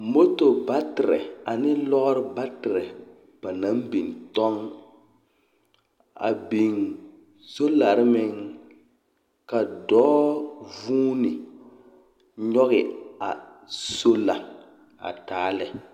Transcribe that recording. Moto baterԑ ane lͻͻre baterԑ ba naŋ biŋ tͻŋ. A biŋ solare meŋ ka dͻͻ vuuni a nyͻge sola a taa lԑ.